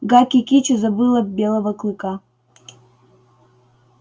гаки кичи забыла белого клыка